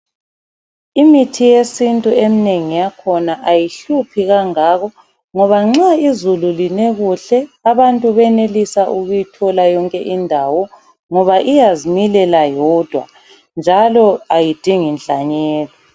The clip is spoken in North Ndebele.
Imithi yesintu eminengi yakhona ayihluphi kangako, ngoba nxa izulu line kuhle abantu bayenelisa ukuyithola yonke indawo ngoba iyazimilela yodwa ayidingi nhlanyelo.